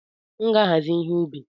M ga-ahazi ihe ubi